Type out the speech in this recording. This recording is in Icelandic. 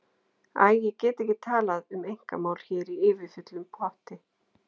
Æ, ég get ekki talað um einkamál hér í yfirfullum potti.